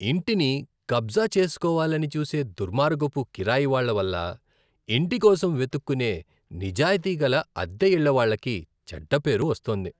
ఇంటిని కబ్జా చేస్కోవాలని చూసే దుర్మార్గపు కిరాయి వాళ్ళ వల్ల ఇంటి కోసం వెతుక్కునే నిజాయతీగల అద్దెఇళ్ళవాళ్ళకి చెడ్డ పేరు వస్తోంది.